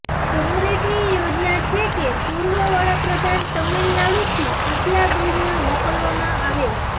કોંગ્રેસની યોજના છે કે પૂર્વ વડાપ્રધાન તમિલનાડુથી ઉપલા ગૃહમાં મોકલવામાં આવે